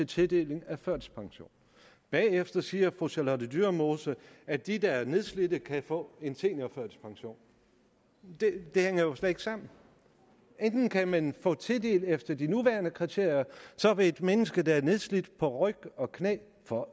tildeling af førtidspension bagefter siger fru charlotte dyremose at de der er nedslidte kan få en seniorførtidspension det hænger jo slet ikke sammen enten kan man få tildelt efter de nuværende kriterier og så vil et menneske der er nedslidt på ryg og knæ få